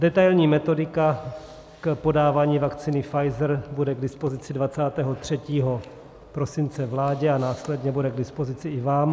Detailní metodika k podávání vakcíny Pfizer bude k dispozici 23. prosince vládě a následně bude k dispozici i vám.